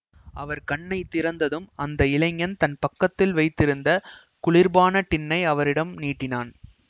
அவர் கண்ணை திறந்ததும் அந்த இளைஞன் தன் பக்கத்தில் வைத்திருந்த குளிர்பான டின்னை அவரிடம் நீட்டினான்